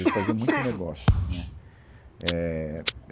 Ele fazia muito negócio, né, éh...